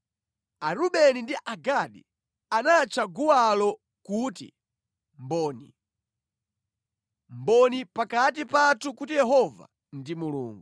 Arubeni ndi Agadi anatcha guwalo kuti Mboni: Mboni pakati pathu kuti Yehova ndi Mulungu.